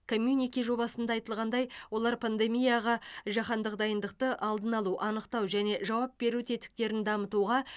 коммюнике жобасында айтылғандай олар пандемияға жаһандық дайындықты алдын алу анықтау және жауап беру тетіктерін дамытуға